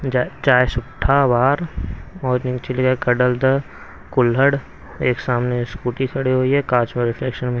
चाय सुट्टा बार ओर नीचे लिखा है कडल द कुल्हड़ एक सामने स्कूटी खड़ी हुए है कांच मे री --